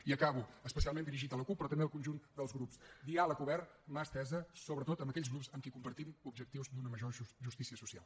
i acabo especialment dirigit a la cup però també al conjunt dels grups diàleg obert mà estesa sobretot amb aquells grups amb qui compartim objectius d’una major justícia social